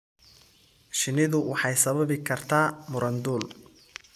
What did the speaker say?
Shinnidu waxay sababi kartaa muran dhul.